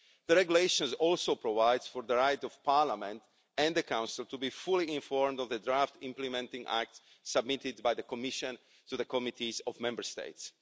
The regulation also provides for the right of Parliament and the Council to be fully informed of the draft implementing acts submitted by the Commission to the committees of Member States.